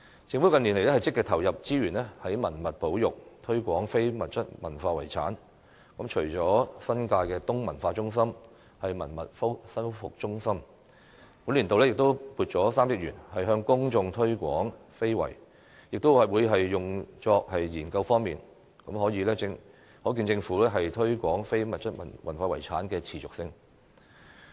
政府近年積極投入資源於文物保育和推廣非物質文化遺產，除了新界東文化中心、文物修復資源中心外，本年度亦撥款3億元向公眾推廣非遺及用於研究用途，可見政府對於推廣非遺的持續性。